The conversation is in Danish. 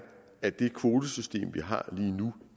at det kvotesystem vi har lige nu